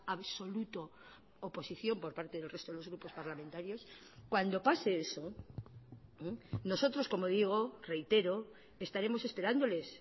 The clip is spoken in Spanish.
absoluto oposición por parte del resto de los grupos parlamentarios cuando pase eso nosotros como digo reitero estaremos esperándoles